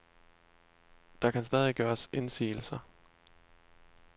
Der kan stadig gøres indsigelser.